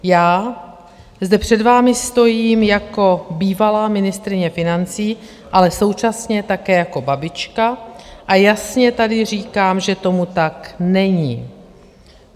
Já zde před vámi stojím jako bývalá ministryně financí, ale současně také jako babička, a jasně tady říkám, že tomu tak není.